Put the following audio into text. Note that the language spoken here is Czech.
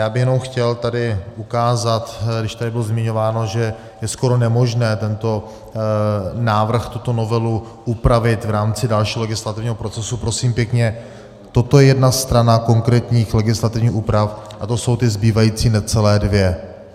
Já bych jenom chtěl tady ukázat, když tady bylo zmiňováno, že je skoro nemožné tento návrh, tuto novelu upravit v rámci dalšího legislativního procesu, prosím pěkně, toto je jedna strana konkrétních legislativních úprav a to jsou ty zbývající necelé dvě.